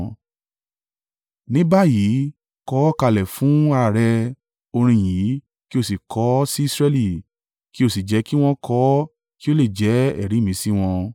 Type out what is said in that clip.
“Ní báyìí kọ ọ́ kalẹ̀ fúnra à rẹ orin yìí kí o sì kọ ọ́ sí Israẹli kí o sì jẹ́ kí wọn kọ ọ́ kí ó lè jẹ́ ẹ̀rí ì mi sí wọn.